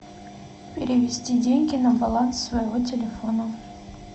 перевести деньги на баланс своего телефона